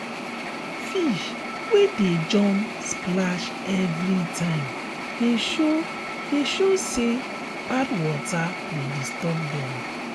fish wey dey jump splash everytime de show de show say bad water de disturb dem